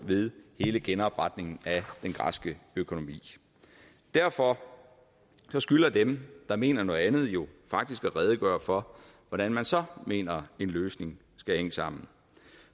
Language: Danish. ved hele genopretningen af den græske økonomi derfor skylder dem der mener noget andet jo faktisk at redegøre for hvordan man så mener en løsning skal hænge sammen